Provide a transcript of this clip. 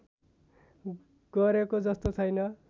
गरेको जस्तो छैन